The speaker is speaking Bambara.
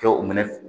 Kɛ u minɛ